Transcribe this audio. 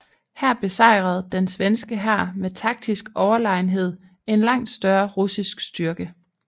Her besejrede den svenske hær med taktisk overlegenhed en langt større russisk styrke